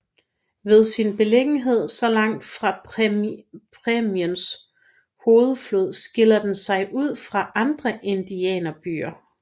Ved sin beliggenhed så langt fra præriens hovedflod skiller den sig ud fra andre indianerbyer